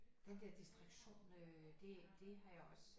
Den der distraktion øh det det har jeg også